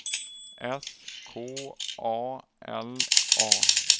S K A L A